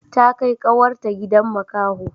Ta kai kawar ta gidan makaho